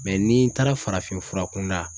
n'i taara farafinfura kunda